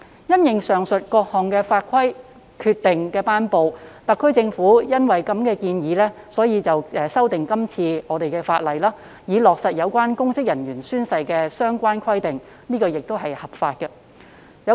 因應上述各項法規及決定的頒布，特區政府建議修訂法例，以落實有關公職人員宣誓的相關規定，這亦是合法的。